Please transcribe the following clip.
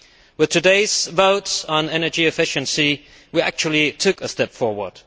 With today's votes on energy efficiency, we actually took a step forward.